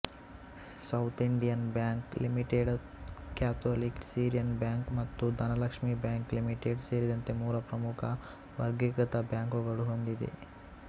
south Indian Bank Limited Catholic Syrian Bank ಮತ್ತು Dhanlaxmi Bank Limited ಸೇರಿದಂತೆ ಮೂರು ಪ್ರಮುಖ ವರ್ಗೀಕೃತ ಬ್ಯಾಂಕುಗಳು ಹೊಂದಿದೆ